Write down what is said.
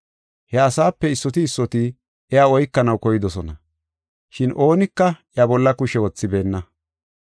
He asaape issoti issoti iya oykanaw koydosona, shin oonika iya bolla kushe wothibeenna.